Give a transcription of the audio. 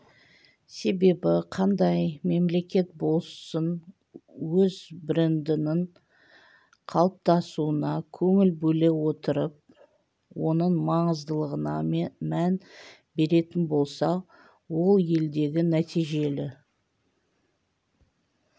себебі қандай мемлекет болсын өз брендінің қалыптасуына көңіл бөле отырып оның маңыздылығына мән беретін болса ол елдегі нәтижелі